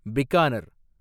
Bikaner